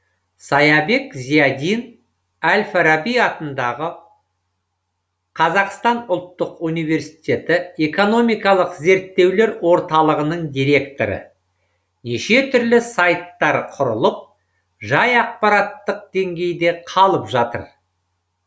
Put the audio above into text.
саябек зиядин әл фараби атындағы қазақстан ұлттық университеті экономикалық зерттеулер орталығының директоры неше түрлі сайттар құрылып жай ақпараттық деңгейде қалып жатыр